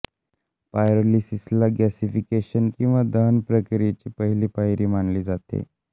पायरोलिसिसला gasification किंवा दहन प्रक्रियेची पहिली पायरी मानले जाते